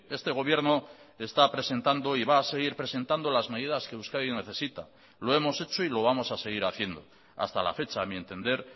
este gobierno está presentando y va a seguir presentando las medidas que euskadi necesita lo hemos hecho y lo vamos a seguir haciendo hasta la fecha a mi entender